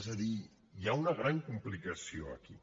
és a dir hi ha una gran complicació aquí